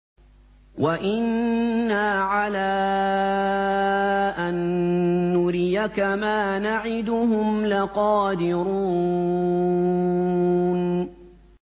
وَإِنَّا عَلَىٰ أَن نُّرِيَكَ مَا نَعِدُهُمْ لَقَادِرُونَ